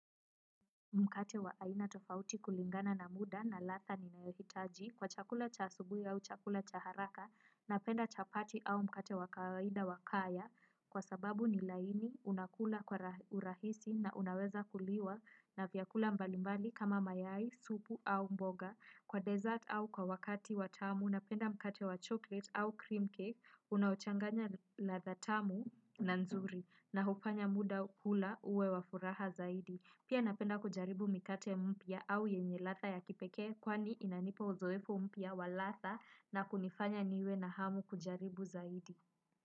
Mkate wa aina tofauti kulingana na muda na ladha ninayohitaji kwa chakula cha asubuhi au chakula cha haraka napenda chapati au mkate wa kawaida wa kaya kwa sababu ni laini unakula kwa urahisi na unaweza kuliwa na vyakula mbalimbali kama mayai, supu au mboga, kwa dessert au kwa wakati wa tamu napenda mkate wa chocolate au cream cake unaochanganya ladha tamu na nzuri na hufanya muda hula uwe wa furaha zaidi. Pia napenda kujaribu mikate mpya au yenye ladha ya kipekee kwani inanipa uzoefu mpya wa ladha na kunifanya niwe na hamu kujaribu zaidi.